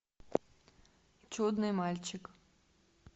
чудный мальчик